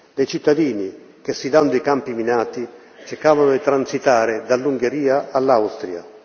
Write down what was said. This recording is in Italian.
dei cittadini che, sfidando i campi minati, cercavano di transitare dall'Ungheria all'Austria.